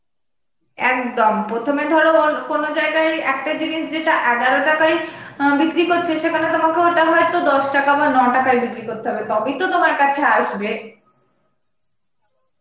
একদম প্রথমে ধর ওর কোনো জায়গায় একটা জিনিস যেটা এগলো টাকায় বিক্রি করছে সেটা তোমাকে ঐটা হয়তো দস টাকা বা ন টাকায় বিক্রি করতে হবে তবেই তো তোমার কাছে আসবে